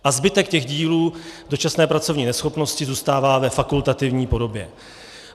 A zbytek těch dílů dočasné pracovní neschopnosti zůstává ve fakultativní podobě.